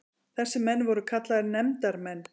Þessir menn voru kallaðir nefndarmenn.